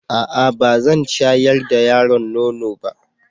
A'a! Ba zan shayar da yaron nono ba.